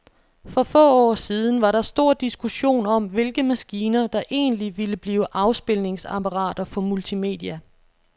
For få år siden var der stor diskussion om, hvilke maskiner, der egentlig ville blive afspilningsapparater for multimedia.